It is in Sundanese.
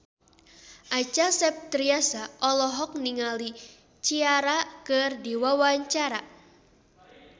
Acha Septriasa olohok ningali Ciara keur diwawancara